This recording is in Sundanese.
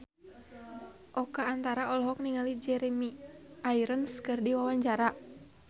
Oka Antara olohok ningali Jeremy Irons keur diwawancara